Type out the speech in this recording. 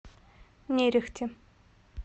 нерехте